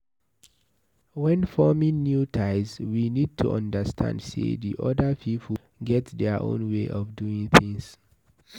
When forming new ties we need to understand sey di oda pipo get their own way of doing things